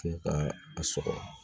Kɛ ka a sɔgɔ